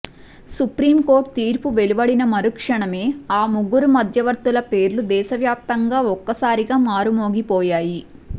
supreme court తీర్పు వెలువడిన మరుక్షణమే ఆ ముగ్గురు మధ్యవర్తుల పేర్లు దేశవ్యాప్తంగా ఒక్కసారిగా మారుమోగిపోయాయి